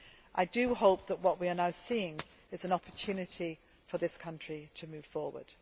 I hope that what we are now seeing is an opportunity for this country to move forward.